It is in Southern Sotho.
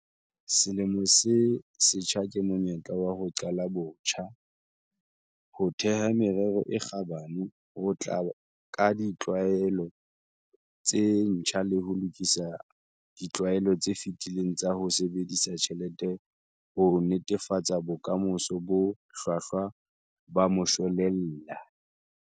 Selemo se setjha ke monyetla wa ho qala botjha, ho theha merero e kgabane, ho tla ka ditlwaelo tse ntjha le ho lokisa ditlwaelo tse fetileng tsa ho sebedisa tjhelete ho netefatsa bokamoso bo hlwahlwa ba moshwelella.